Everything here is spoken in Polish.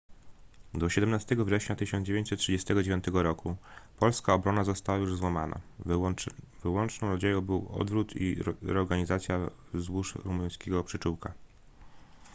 do 17 września 1939 roku polska obrona została już złamana wyłączną nadzieją był odwrót i reorganizacja wzdłuż rumuńskiego przyczółka